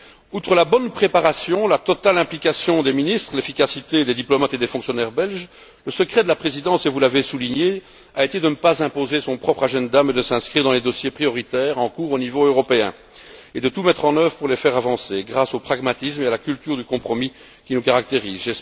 Outre la bonne préparation, la totale implication des ministres, l'efficacité des diplomates et des fonctionnaires belges, le secret de la Présidence et vous l'avez souligné a été de ne pas imposer son propre agenda mais de s'inscrire dans les dossiers prioritaires en cours, au niveau européen, et de tout mettre en œuvre pour les faire avancer, grâce au pragmatisme et à la culture du compromis qui nous caractérisent.